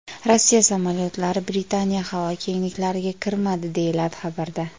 Rossiya samolyotlari Britaniya havo kengliklariga kirmadi”, deyiladi xabarda.